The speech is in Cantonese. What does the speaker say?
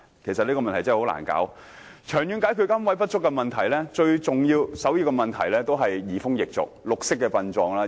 要長遠解決龕位不足的問題，最重要和首要的方法，便是移風易俗，推廣綠色殯葬。